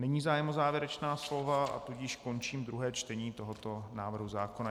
Není zájem o závěrečná slova, tudíž končím druhé čtení tohoto návrhu zákona.